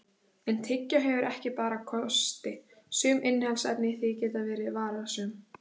En tyggjó hefur ekki bara kosti, sum innihaldsefni í því geta verið varasöm.